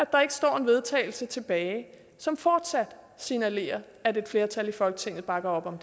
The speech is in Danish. der ikke står en vedtagelse tilbage som fortsat signalerer at et flertal i folketinget bakker op om